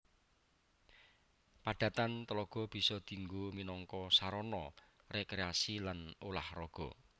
Padatan tlaga bisa dinggo minangka sarana rekreasi lan ulah raga